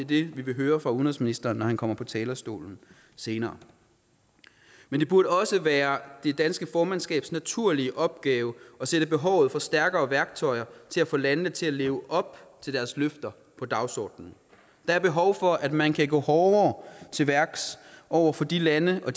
vi vil høre fra udenrigsministeren når han kommer på talerstolen senere men det burde også være det danske formandskabs naturlige opgave at sætte behovet for stærkere værktøjer til at få landene til at leve op til deres løfter på dagsordenen der er behov for at man kan gå hårdere til værks over for de lande og